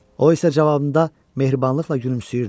O isə cavabında mehribanlıqla gülümsəyirdi.